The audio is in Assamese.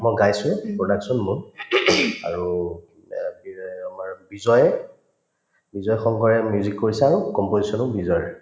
মই গাইছো production মোৰ আৰু এহ্ যে আমাৰ বিজয়ে বিজয় সংঘয়ে music কৰিছে আৰু composition ও বিজয়ৰে